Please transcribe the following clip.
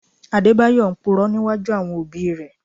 Adébáyọ̀ ń Purọ́ níwájú àwọn òbí rẹ̀